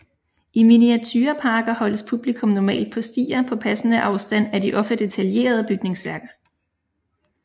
I miniatureparker holdes publikum normalt på stier på passende afstand af de ofte detaljerede bygningsværker